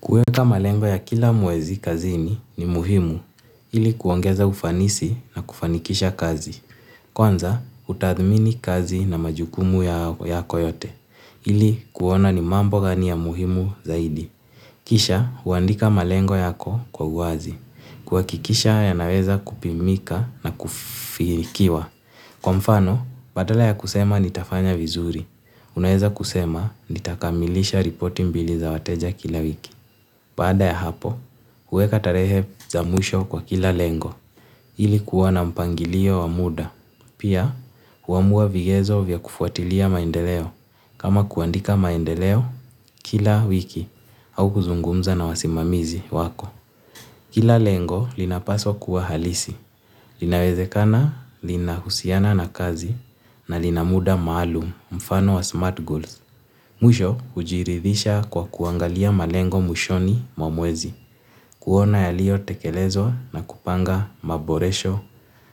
Kuweka malengo ya kila mwezi kazini ni muhimu, ili kuongeza ufanisi na kufanikisha kazi. Kwanza, utathmini kazi na majukumu ya yako yote, ili kuona ni mambo gani ya muhimu zaidi. Kisha, uandika malengo yako uazi. Kuhakikisha ya naweza kupimika na kufikiwa. Kwa mfano, badala ya kusema ni tafanya vizuri. Unaweza kusema ni takamilisha ripoti mbili za wateja kila wiki. Baada ya hapo, kuweka tarehe za mwisho kwa kila lengo ili kuwa na mpangilio wa muda. Pia, kuamua vigezo vya kufuatilia maendeleo kama kuandika maendeleo kila wiki au kuzungumza na wasimamizi wako. Kila lengo linapaswa kuwa halisi, linawezekana lina husiana na kazi na lina muda maalum mfano wa smart goals. Mwisho hujiridhisha kwa kuangalia malengo mwishoni mwa mwezi, kuona yalio tekelezwa na kupanga maboresho